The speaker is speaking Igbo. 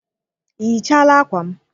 Ị yichaala akwa m?